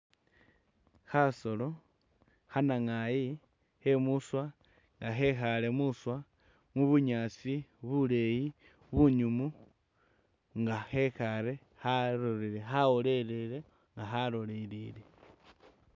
Khasolo khanangayi khemuswa nga khekhale muswa mu'bunyaasi buleyi bunyumu nga khekhale khalole khawolelele nga khalolelele